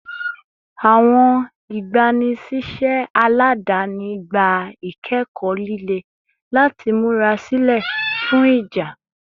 Awọn igbanisiṣẹ aladani gba ikẹkọ lile lati mura silẹ fun ija